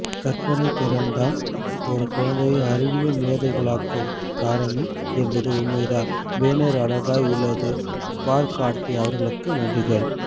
கற்பனைதிறன்தான் ஒரு குழந்தையை அறிவியல் மேதைகளாக்கும் காரனி என்பது உண்மைதான் பேனர் அழகாய் உள்ளது ஸ்பார்க் கார்த்தி அவர்களுக்கு நன்றிகள்